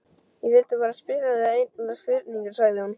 Ég vildi bara spyrja þig einnar spurningar, sagði hún.